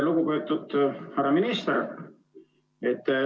Lugupeetud härra minister!